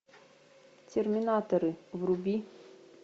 терминаторы вруби